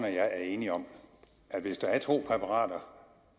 og jeg er enige om at hvis der er to præparater